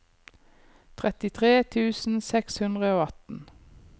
trettitre tusen seks hundre og atten